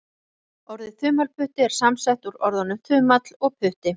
Orðið þumalputti er samsett úr orðunum þumall og putti.